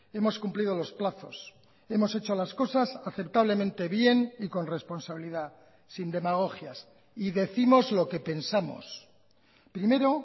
hemos cumplido los plazos hemos hecho las cosas aceptablemente bien y con responsabilidad sin demagogias y décimos lo que pensamos primero